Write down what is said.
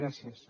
gràcies